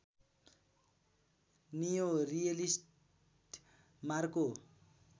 neo realist Marco